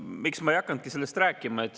Miks ma ei hakanudki sellest rääkima?